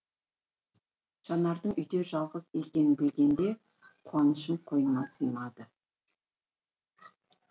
жанардың үйде жалғыз екенін білгенде қуанышым қойныма сыймайды